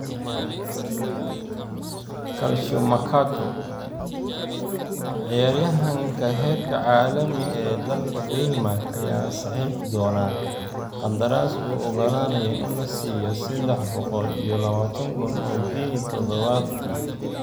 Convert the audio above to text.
(Calciomercato) Ciyaaryahanka heerka caalami ee dalka Denmark ayaa saxiixi doona qandaraas u ogolaanaya in la siiyo sedax boqol iyo labatan kun oo ginni todobaadkii.